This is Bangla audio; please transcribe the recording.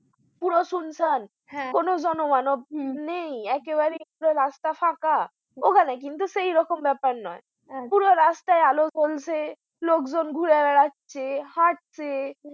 পুরো সুনসান হ্যাঁ কোনো জনমানব নেই হম একেবারে রাস্তা ফাঁকা ওখানে কিন্তু সেইরকম ব্যাপার না পুরো রাস্তায় আলো জ্বলছে লোকজন ঘুরে বেড়াচ্ছে হাটছে